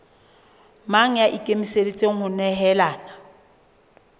mang ya ikemiseditseng ho nehelana